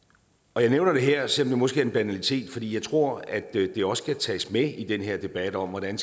og jeg nævner det her selv om det måske er en banalitet fordi jeg tror at det også skal tages med i den her debat om hvordan